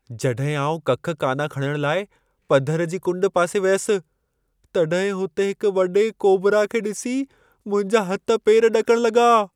जॾहिं आउं कख काना खणण लाइ पधर जी कुंड पासे वियसि, तॾहिं हुते हिक वॾे कोबरा खे ॾिसी मुंहिंजा हथ पेर ॾकण लॻा।